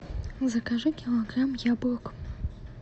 закажи килограмм яблок